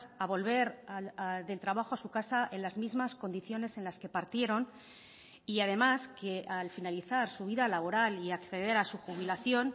a volver del trabajo a su casa en las mismas condiciones en las que partieron y además que al finalizar su vida laboral y acceder a su jubilación